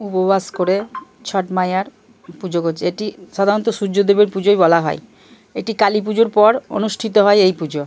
উপবাস করে ছট মাইয়ার পুজো করছে। এটি সাধারণত সূর্য দেবের পুজোই বলা হয়। এটি কালী পুজোর পর অনুষ্ঠিত হয় এই পুজো।